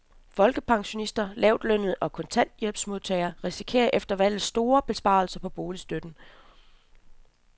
Folkepensionister, lavtlønnede og kontanthjælpsmodtagere risikerer efter valget store besparelser på boligstøtten.